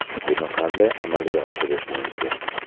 Buni qanday amalga oshirish mumkin?